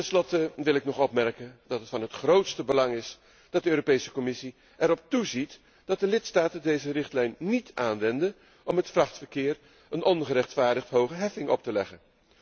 Tenslotte wil ik opmerken dat het van het grootste belang is dat de Commissie erop toeziet dat de lidstaten deze richtlijn niet aanwenden om het vrachtverkeer een ongerechtvaardigd hoge heffing op te leggen.